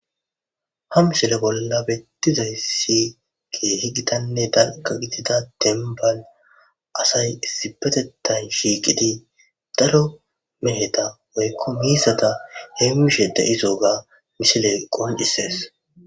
Hamsile bolla bettizayssi geehi gitanne dalqa gitida dembal asay issibetetan shiiqidi daro meheta oykko miisata hem mishe de'izooga misileqqon issees.